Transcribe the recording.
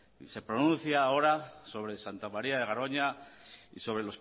se pronuncia ahora sobre santa maría de garoña y sobre